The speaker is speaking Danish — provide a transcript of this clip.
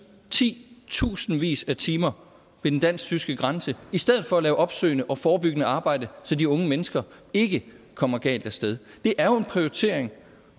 ti tusindvis af timer ved den dansk tyske grænse i stedet for at lave opsøgende og forebyggende arbejde så de unge mennesker ikke kommer galt af sted det er jo en prioritering